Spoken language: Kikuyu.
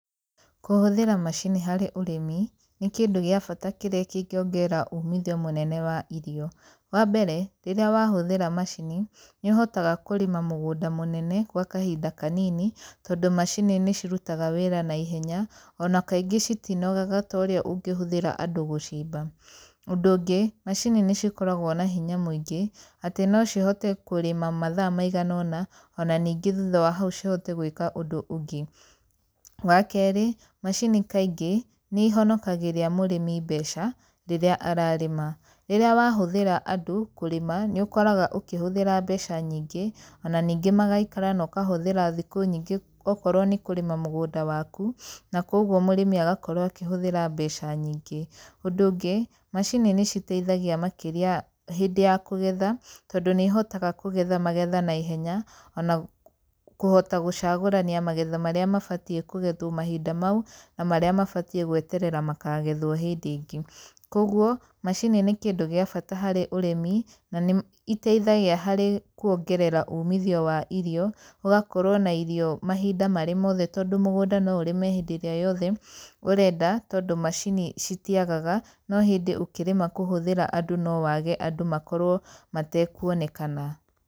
Kũhũthĩra macini harĩ ũrĩmi, nĩ kĩndũ gĩa bata kĩrĩa kĩngĩongerera umithio mũnene wa irio. Wa mbere, rĩrĩa wahũthĩra macini, nĩ ũhotaga kũrĩma mũgũnda mũnene gwa kahinda kanini, tondũ macini nĩ cirutaga wĩra naihenya, ona kaingĩ citinogaga ta ũrĩa ũngĩhũthĩra andũ gũcimba. Ũndũ ũngĩ, macini nĩ cikoragwo na hinya mũingĩ, atĩ no cihote kũrĩma mathaa maigana ũna, ona ningĩ thutha wa hau cihote gwĩka ũndũ ũngĩ. Wa kerĩ, macini kaingĩ, nĩ ihonakagĩria mũrĩmi mbeca rĩrĩa ararĩma. Rĩrĩa wahũthĩra andũ kũrĩma, nĩ ũkoraga ũkĩhũthĩra mbeca nyingĩ ona ningĩ magaikara no ũkahũthĩra thikũ nyingĩ okorwo nĩ kũrĩma mũgũnda waku, na kũguo mũrĩmi agakorwo akĩhũthĩra mbeca nyingĩ. Ũndũ ũngĩ, macini nĩ citeithagia makĩria hĩndĩ ya kũgetha, tondũ nĩ ihotaga kũgetha magetha naihenya, ona kũhota gũcagũrania magetha marĩa mabatiĩ kũgethwo mahinda mau na marĩa mabatiĩ gweterera makagethwo hĩndĩ ĩngĩ. Koguo, macini nĩ kĩndũ gĩa bata harĩ ũrĩmi, na nĩ iteithagia harĩ kuongerera umithio wa irio, ũgakorwo na irio mahinda marĩ mothe, tondũ mũgũnda no ũrĩme hĩndĩ ĩrĩa yothe ũrenda, tondũ macini citiagaga, no hĩndĩ ũkĩrĩma kũhũthĩra andũ no wage andũ makorwo matekuonekana.